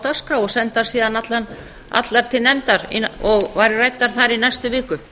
dagskrá og sendar síðan allar til nefndar og væru ræddar þar í næstu viku